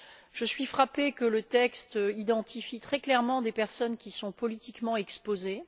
Je suis frappée par le fait que le texte identifie très clairement des personnes qui sont politiquement exposées